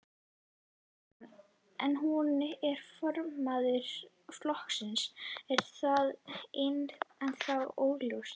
Kristján: En hún er formaður flokksins, er það ennþá óljóst?